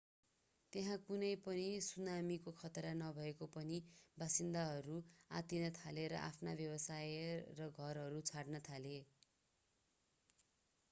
त्यहाँ कुनै पनि सुनामीको खतरा नभए पनि बासिन्दाहरू आत्तिन थाले र आफ्ना व्यवसाय र घरहरू छोड्न थाले